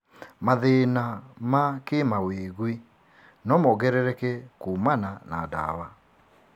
Mathĩĩna ma kĩmawĩgwi no mongerereke kuumana na ndawa.